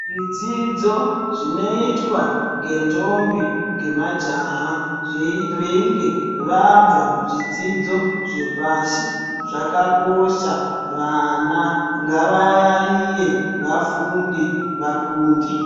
Zvidzidzo zvinoitwa ngendombi ngemajaha veinge vabva kuzvidzidzo zvepashi zvakakosha vana nagavayaiye vafunde vakunde.